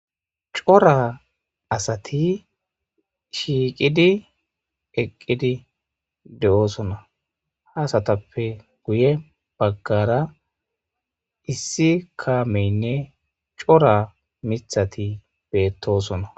cora asati shiiqidi eqqidi de7oosona haasatappe guye baggara issi kaameynne cora mithati beettosona